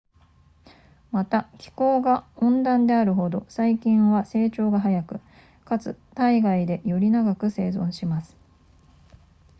また気候が温暖であるほど細菌は成長が速くかつ体外でより長く生存します